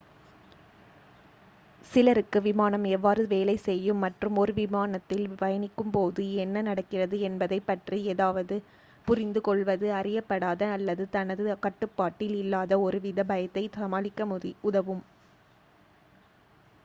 சிலருக்கு விமானம் எவ்வாறு வேலை செய்யும் மற்றும் ஒரு விமானத்தில் பயணிக்கும் போது என்ன நடக்கிறது என்பதைப் பற்றி ஏதாவது புரிந்து கொள்வது அறியப்படாத அல்லது தனது கட்டுப்பாட்டில் இல்லாத ஒருவித பயத்தை சமாளிக்க உதவும்